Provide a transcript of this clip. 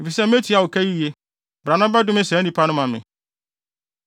efisɛ metua wo ka yiye. Bra na bɛdome saa nnipa no ma me.’ ”